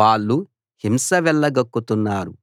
వాళ్ళు హింస వెళ్లగక్కుతున్నారు